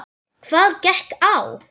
Hvað gekk á?